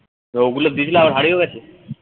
তো ওগুলো দিয়েছিল আবার হারিয়েও গেছে